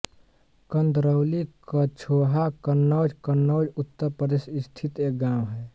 कंदरौली कछोहा कन्नौज कन्नौज उत्तर प्रदेश स्थित एक गाँव है